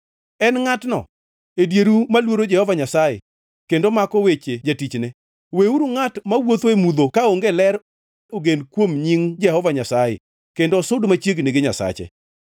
En ngʼatno e dieru moluoro Jehova Nyasaye kendo mako weche jatichne? Weuru ngʼat mawuotho e mudho kaonge ler ogen kuom nying Jehova Nyasaye kendo osud machiegni gi Nyasache.